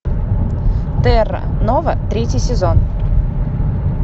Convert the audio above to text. терра нова третий сезон